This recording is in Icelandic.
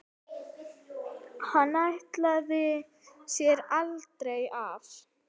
Hann ætlaði sér aldrei af.